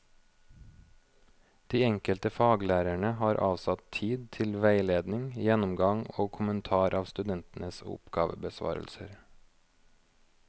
De enkelte faglærerne har avsatt tid til veiledning, gjennomgang og kommentar av studentenes oppgavebesvarelser.